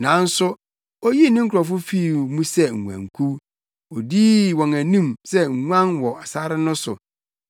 Nanso oyii ne nkurɔfo fii mu sɛ nguankuw; odii wɔn anim sɛ nguan wɔ sare no so.